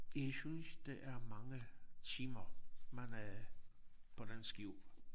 Jeg synes det er mange timer man er på den skib